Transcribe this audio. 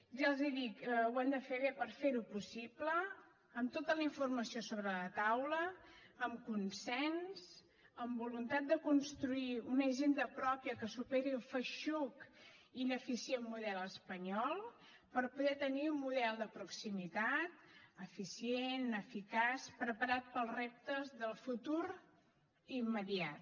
ja els ho dic ho hem de fer bé per fer ho possible amb tota la informació sobre la taula amb consens amb voluntat de construir una hisenda pròpia que superi el feixuc ineficient model espanyol per poder tenir un model de proximitat eficient eficaç preparat per als reptes del futur immediat